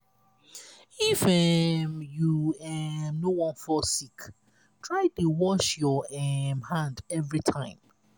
if um you um no wan fall sick try dey wash your um hand every time.